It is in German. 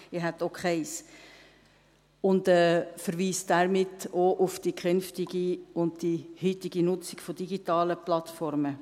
ich hätte auch keines – und verweist damit auch auf die künftige und heutige Nutzung von digitalen Plattformen.